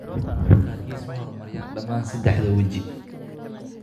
Dadka qaarkiis ma horumariyaan dhammaan saddexda weji.